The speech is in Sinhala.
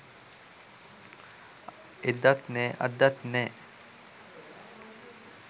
එදත් නෑ අදත් නෑ